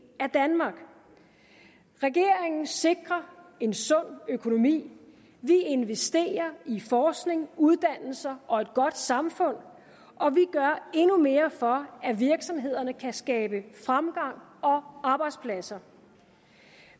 af danmark regeringen sikrer en sund økonomi vi investerer i forskning uddannelse og et godt samfund og vi gør endnu mere for at virksomhederne kan skabe fremgang og arbejdspladser